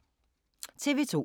TV 2